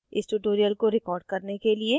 इस tutorial को record करने के लिए